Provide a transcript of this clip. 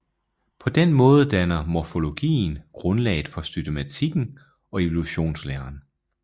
På den måde danner morfologien grundlaget for systematikken og evolutionslæren